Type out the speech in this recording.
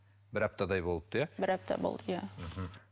бір аптадай болыпты иә бір апта болды иә мхм